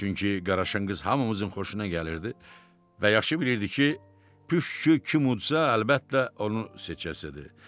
Çünki Qaraşınqız hamımızın xoşuna gəlirdi və yaxşı bilirdi ki, püşkü kim udsa, əlbəttə onu seçəsidir.